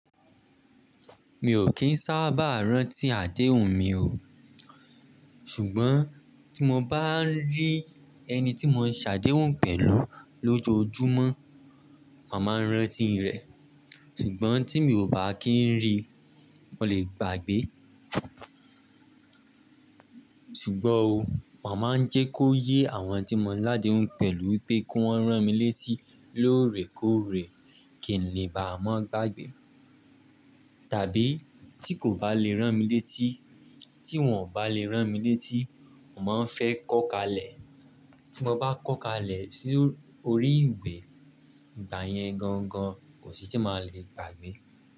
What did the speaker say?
Mi ò kí ń sábà rántí àdéhùn mi o. Ṣùgbọ́n tí mo bá ń rí ẹni tí mo ń ṣàdéhùn pẹ̀lú lójoojúmọ́, mà maa rántí rẹ̀. Ṣùgbọ́n tí mi ò bá kí ń rí, mo lè gbàgbé. Ṣùgbọ́n o, mo ma ń jẹ́ kó yé àwọn tí mo ń ládéhùn pẹ̀lú pé ki wọ́n rán mi létí lóòrèkóòrè kí n lè bá maa gbàgbé. Tàbí tí kò bá lè rán mi létí, tí wọ́n ò bá lè rán mi létí, mo ma n fẹ́ kọ́ kalẹ̀. Tí mo bá kọ́kalẹ̀ sí orí ìwé, ìgbà yẹn gangan kò sì tí màá le gbàgbé.